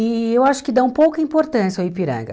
E eu acho que dão pouca importância ao Ipiranga.